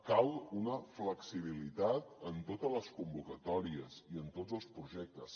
cal una flexibilitat en totes les convocatòries i en tots els projectes